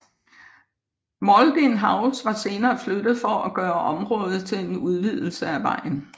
Mauldin House var senere flyttet for at gøre området klar til en udvidelse af vejen